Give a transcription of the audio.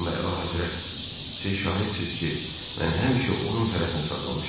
Amma əlahəzrət, siz şahidsiniz ki, mən həmişə onun tərəfini saxlamışam.